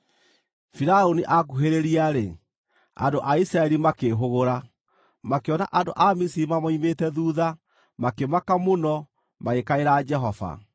Firaũni akuhĩrĩria-rĩ, andũ a Isiraeli makĩĩhũgũra, makĩona andũ a Misiri mamoimĩte thuutha makĩmaka mũno, magĩkaĩra Jehova.